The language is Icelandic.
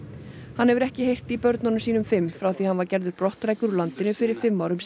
hann hefur ekki heyrt í börnum sínum fimm frá því að hann var gerður brottrækur úr landinu fyrir fimm árum